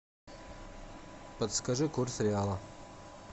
подскажи курс реала